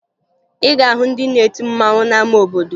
Ị ga-ahụ ndị na-eti mmanwụ n'ama obodo